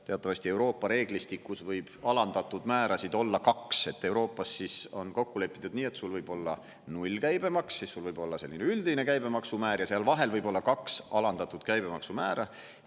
Teatavasti Euroopa reeglistikus võib alandatud määrasid olla kaks, et Euroopas on kokku lepitud nii, et sul võib olla nullkäibemaks, siis sul võib olla selline üldine käibemaksumäär ja seal vahel võib olla kaks alandatud käibemaksumäära.